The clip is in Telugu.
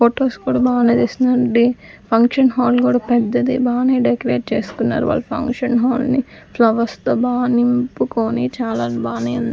ఫొటోస్ కూడా బానే తీస్తున్నారండి ఫంక్షన్ హాల్ కూడా పెద్దది బానే డెకరేట్ చేసుకున్నారు వాళ్లు ఫంక్షన్ హాల్ ని ఫ్లవర్స్ తో బా నింపుకొని చాలా బానే ఉం --